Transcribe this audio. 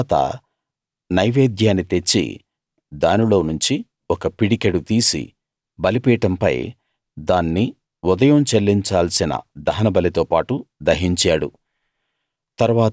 దాని తరువాత నైవేద్యాన్ని తెచ్చి దానిలోనుంచి ఒక పిడికెడు తీసి బలిపీఠంపై దాన్ని ఉదయం చెల్లించాల్సిన దహనబలితో పాటు దహించాడు